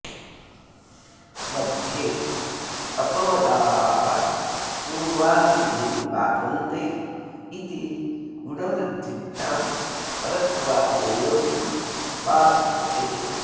मध्ये ऽपवदाः पूर्वान् विधीन् बाधन्ते इति गुणवृद्धिभ्यां परत्वादयं बाध्यते